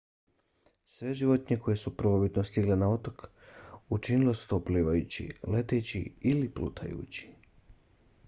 sve životinje koje su prvobitno stigle na otoke učinile su to plivajući leteći ili plutajući